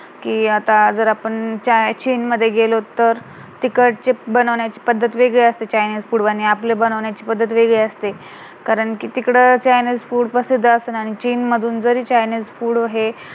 कि आता जर आपण चीन मध्ये गेलो तर तिकडचे बनवण्याची पद्धत वेगडी असते आणि चायनीज food आणि आपल्या बनवण्याची पद्धत वेगडी असते कारण कि तिकडे जरी चायनीज food प्रसिद्ध असेल आणि चीन मधून जरी चायनीज food हे